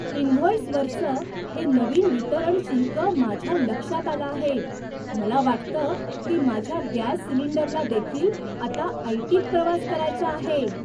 इनव्हॉईसवरचं हे नवीन वितरण शुल्क माझ्या लक्षात आलं आहे. मला वाटतं की माझ्या गॅस सिलिंडरला देखील आता ऐटीत प्रवास करायचा आहे!